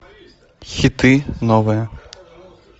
хиты новые